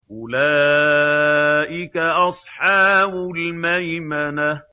أُولَٰئِكَ أَصْحَابُ الْمَيْمَنَةِ